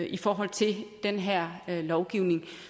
i forhold til den her lovgivning